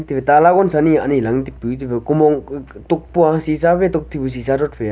tu tala gonsa anyi lang taipu take kumong tokpua shisha tok taipu shisa rod fai a.